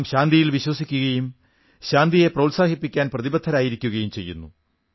നാം ശാന്തിയിൽ വിശ്വസിക്കുകയും ശാന്തിയെ പ്രോത്സാഹിപ്പിക്കാൻ പ്രതിബദ്ധരായിരിക്കുകയും ചെയ്യുന്നു